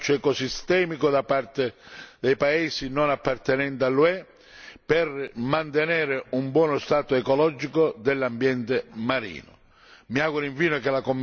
Va quindi incoraggiato un approccio ecosistemico da parte dei paesi non appartenenti all'UE per mantenere un buono stato ecologico dell'ambiente marino.